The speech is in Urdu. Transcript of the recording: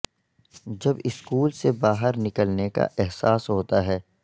جب سکول سے باہر نکلنے کا احساس ہوتا ہے